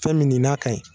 Fɛn min n'a ka ɲi